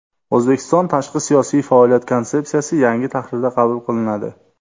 O‘zbekistonda Tashqi siyosiy faoliyat konsepsiyasi yangi tahrirda qabul qilinadi.